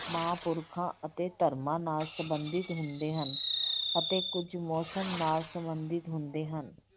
ਮਹਾਂ ਪੁਰਖਾਂ ਅਤੇ ਧਰਮਾਂ ਨਾਲ ਸੰਬੰਧਿਤ ਹੁੰਦੇ ਹਨ ਅਤੇ ਕੁੱਝ ਮੌਸਮ ਨਾਲ ਸੰਬੰਧਿਤ ਹੁੰਦੇ ਹਨ।